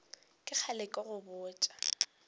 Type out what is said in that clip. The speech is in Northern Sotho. ke kgale ke go botša